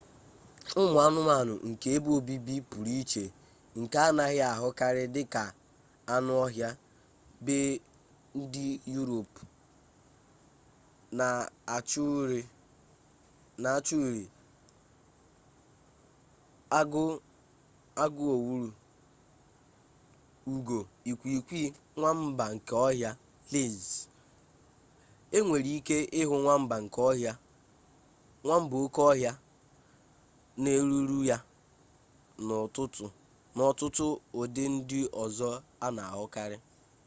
ụmụ anụmanụ nke ebe obibi pụrụ iche nke anaghị ahụkarị dị ka anụ ọhịa bea ndị yurop na-acha uri agụ owulu ugo ikwiikwii nwamba oke ọhịa linz e nwere ike ịhụ nwamba oke ọhịa na eruru ya na ọtụtụ ụdị ndị ọzọ a na-ahụkarị